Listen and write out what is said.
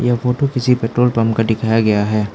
Photo किसी petrol pump का दिखाया गया है।